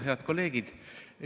Head kolleegid!